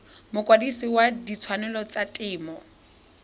mokwadise wa ditshwanelo tsa temo